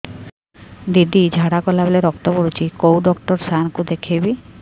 ଦିଦି ଝାଡ଼ା କଲା ବେଳେ ରକ୍ତ ପଡୁଛି କଉଁ ଡକ୍ଟର ସାର କୁ ଦଖାଇବି